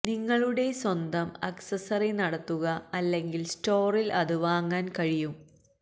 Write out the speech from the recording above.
നിങ്ങളുടെ സ്വന്തം അക്സസറി നടത്തുക അല്ലെങ്കിൽ സ്റ്റോറിൽ അത് വാങ്ങാൻ കഴിയും